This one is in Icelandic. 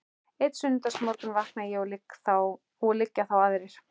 Einn sunnudagsmorgun vakna ég og liggja þá aðrir